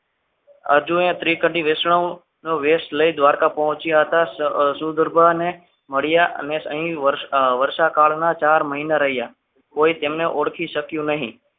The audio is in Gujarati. હજુય ત્રીકનથી વૈષ્ણવ નો વેશ લઇ દ્વારકા પહોંચ્યા હતા શું ગરબા ને મળ્યા અને અહીં વર્ષા કાળના ચાર મહિના રહ્યા કોઈ તેમને ઓળખી શક્યું નહીં.